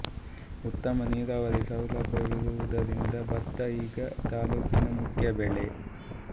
ಉತ್ತಮ ನೀರಾವರಿ ಸೌಲಭ್ಯವಿರುವುದರಿಂದ ಭತ್ತ ಈಗ ತಾಲ್ಲೂಕಿನ ಮುಖ್ಯ ಬೆಳೆ